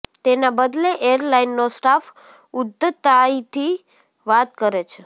તેના બદલે એરલાઈનનો સ્ટાફ ઉધ્ધતાઈથી વાત કરે છે